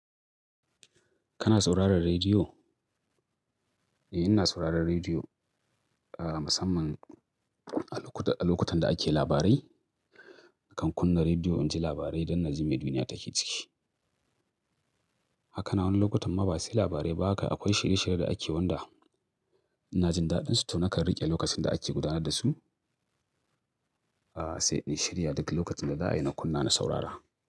Kana sauraron rediyo? Eh, ina sauraron rediyo, musamman a lokutan da ake labarai. Nakan kunna rediyo in ji labarai don na ji me duniya take ciki. Haka ma wasu lokutan ma ba sai labarai ba haka akwai shirye-shirye da ake wanda ina jin daɗinsu to nakan riƙe lokacin da ake gudanar da su. Sai in shirya duk lokacin da za'ayi na kunna na saurara.